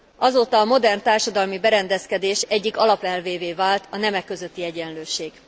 Azóta a modern társadalmi berendezkedés egyik alapelvévé vált a nemek közötti egyenlőség.